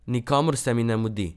Nikamor se mi ne mudi.